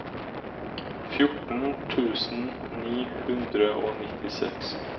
fjorten tusen ni hundre og nittiseks